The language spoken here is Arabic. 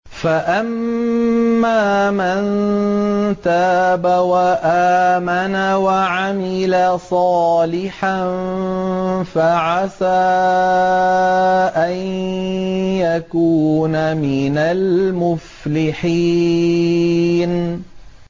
فَأَمَّا مَن تَابَ وَآمَنَ وَعَمِلَ صَالِحًا فَعَسَىٰ أَن يَكُونَ مِنَ الْمُفْلِحِينَ